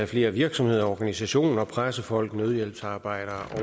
flere virksomheder og organisationer pressefolk nødhjælpsarbejdere